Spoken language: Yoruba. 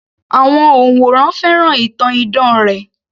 Àwọn òǹwòran fẹ́ràn ìtàn idán rẹ̀